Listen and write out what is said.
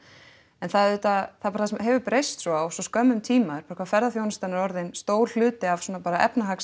en það auðvitað það bara hefur breyst svo á skömmum tíma hvað ferðaþjónustan er orðinn stór hluti af bara